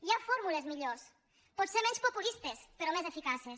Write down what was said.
hi ha fórmules millors potser menys populistes però més eficaces